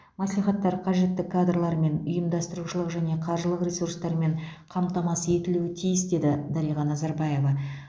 мәслихаттар қажетті кадрлармен ұйымдастырушылық және қаржылық ресурстармен қамтамасыз етілуі тиіс деді дариға назарбаева